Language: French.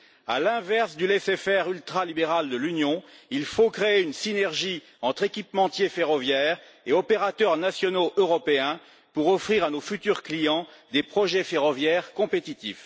À l'inverse du laisser faire ultralibéral de l'Union, il faut créer une synergie entre équipementiers ferroviaires et opérateurs nationaux européens pour offrir à nos futurs clients des projets ferroviaires compétitifs.